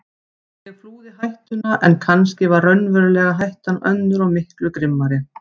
Ég flúði hættuna en kannski var raunverulega hættan önnur og miklu grimmari.